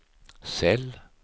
cell